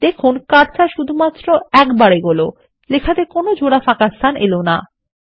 দেখুন কার্সার শুধুমাত্র একটিবার এগোলো এবং লেখাতে জোড়া ফাঁকাস্থানএলো না